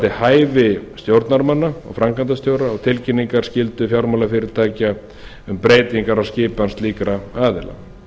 hæfi stjórnarmanna og framkvæmdastjóra og tilkynninga skyldu fjármálafyrirtækja um breytingar á skipan slíkra aðila